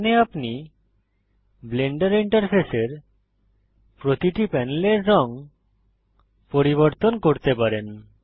এখানে আপনি ব্লেন্ডার ইন্টারফেসের প্রতিটি প্যানেলের রঙ পরিবর্তন করতে পারেন